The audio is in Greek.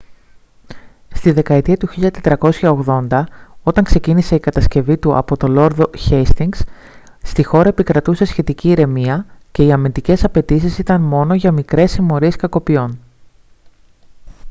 στη δεκαετία του 1480 όταν ξεκίνησε η κατασκευή του από το λόρδο χέιστινγκς στη χώρα επικρατούσε σχετική ηρεμία και οι αμυντικές απαιτήσεις ήταν μόνο για μικρές συμμορίες κακοποιών